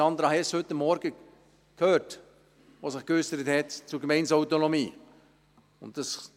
Sie haben heute Morgen Sandra Hess gehört, die sich zur Gemeindeautonomie geäussert hat.